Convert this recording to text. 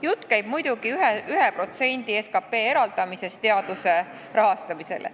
Jutt käib muidugi SKT-st 1% eraldamisest teaduse rahastamiseks.